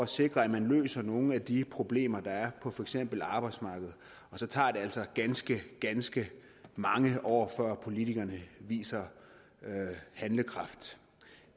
sikrer at man løser nogle af de problemer der er på for eksempel arbejdsmarkedet og så tager det altså ganske ganske mange år før politikerne viser handlekraft